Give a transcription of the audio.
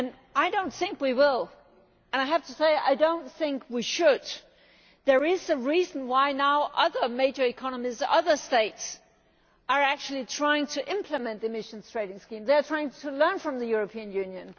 I do not think we will, and I have to say, I do not think we should. There is a reason why other major economies, other states, are trying now to implement emissions trading schemes. They are trying to learn from the European Union.